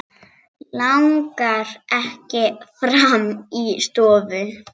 Langar ekki fram í stofu.